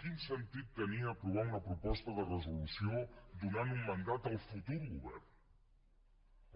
quin sentit tenia aprovar una proposta de resolució donant un mandat al futur govern